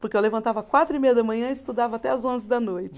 Porque eu levantava quatro e meia da manhã e estudava até as onze da noite.